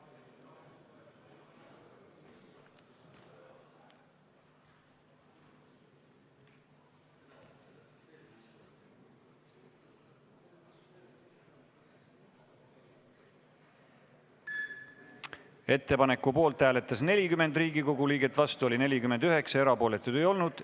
Hääletustulemused Ettepaneku poolt hääletas 40 Riigikogu liiget, vastu oli 49 ja erapooletuid ei olnud.